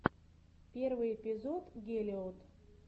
первый эпизод гелот